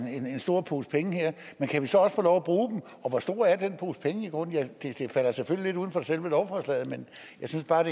stor pose penge men kan vi så også få lov at bruge dem og hvor stor er den pose penge i grunden det falder selvfølgelig lidt uden for selve lovforslaget men jeg synes bare